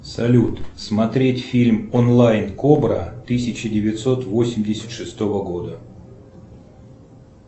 салют смотреть фильм онлайн кобра тысяча девятьсот восемьдесят шестого года